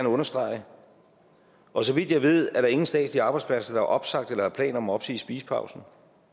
understrege og så vidt jeg ved er der ingen statslige arbejdspladser der har opsagt eller har planer om at opsige spisepausen